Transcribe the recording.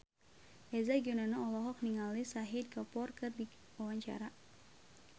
Eza Gionino olohok ningali Shahid Kapoor keur diwawancara